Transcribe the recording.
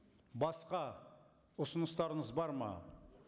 басқа ұсыныстарыңыз бар ма